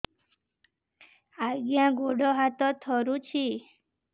ଆଜ୍ଞା ଗୋଡ଼ ହାତ ଥରୁଛି